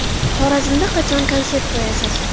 Xorazmda qachon konsert qo‘yasiz?